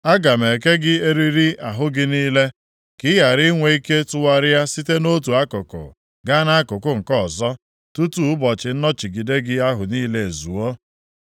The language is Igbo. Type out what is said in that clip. Aga m eke gị eriri ahụ gị niile, ka ị ghara inwe ike tụgharịa site nʼotu akụkụ gaa nʼakụkụ nke ọzọ tutu ụbọchị nnọchigide gị ahụ niile ezuo.